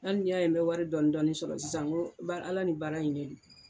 Hali ni y'a ye n bɛ wari dɔɔnin dɔɔnin sɔrɔ sisan Ala ni baara in de don